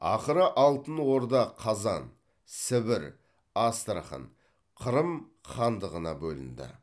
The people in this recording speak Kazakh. ақыры алтын орда қазан сібір астрахань қырым хандығына бөлінді